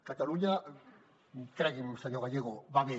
catalunya cregui’m senyor gallego va bé